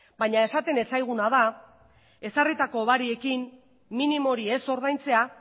baina esaten ez zaiguna da ezarritako hobariekin minimo hori ez ordaintzea